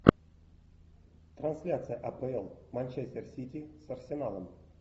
трансляция апл манчестер сити с арсеналом